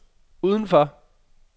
udenfor